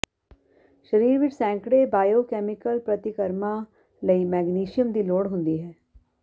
ਸਰੀਰ ਵਿਚ ਸੈਂਕੜੇ ਬਾਇਓਕੈਮੀਕਲ ਪ੍ਰਤੀਕਰਮਾਂ ਲਈ ਮੈਗਨੇਸ਼ੀਅਮ ਦੀ ਲੋੜ ਹੁੰਦੀ ਹੈ